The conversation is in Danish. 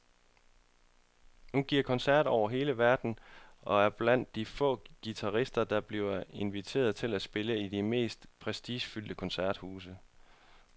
Hun giver koncerter over hele verden og er blandt de få guitarister, der bliver inviteret til at spille i de mest prestigefyldte koncerthuse.